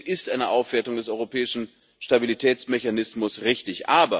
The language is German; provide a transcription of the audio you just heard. Deswegen ist eine Aufwertung des Europäischen Stabilitätsmechanismus richtig.